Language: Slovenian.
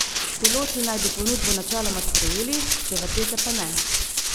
Piloti naj bi ponudbo načeloma sprejeli, stevardese pa ne.